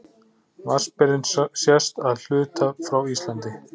Vatnsberinn sést að hluta frá Íslandi.